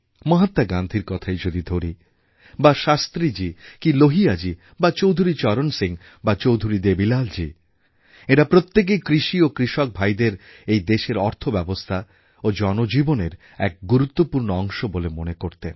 মহাত্মা গান্ধীর কথাই যদি ধরি বা শাস্ত্রীজী কি লোহিয়াজী বা চৌধুরী চরণ সিং বা চৌধুরী দেবীলাল জী এঁরা প্রত্যেকেই কৃষি ও কৃষকভাইদের এই দেশের অর্থব্যবস্থা ও জনজীবনের এক গুরুত্বপূর্ণ অংশ বলে মনে করতেন